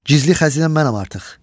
Gizli xəzinə mənəm artıq.